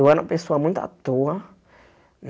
Eu era uma pessoa muito à toa